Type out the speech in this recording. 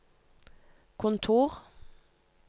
kontor